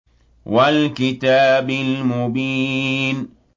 وَالْكِتَابِ الْمُبِينِ